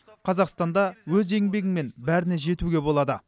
қазақстанда өз еңбегіңмен бәріне жетуге болады